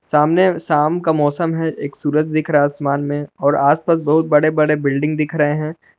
सामने शाम का मौसम है एक सुरज दिख रहा है आसमान में और आस पास बहुत बड़े बड़े बिल्डिंग दिख रहे हैं।